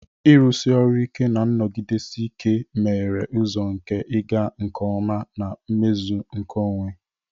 Ịrụsi ọrụ ike na nnọgidesi ike meghere ụzọ nke ịga nke ọma na mmezu nke onwe.